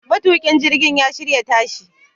Matukin jirgin ya shirya tashi